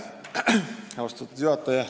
Austatud juhataja!